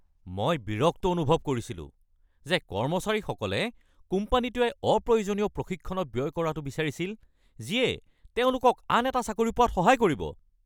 মই বিৰক্ত অনুভৱ কৰিছিলো যে কৰ্মচাৰীসকলে কোম্পানীটোৱে অপ্ৰয়োজনীয় প্ৰশিক্ষণত ব্যয় কৰাটো বিচাৰিছিল যিয়ে তেওঁলোকক আন এটা চাকৰি পোৱাত সহায় কৰিব।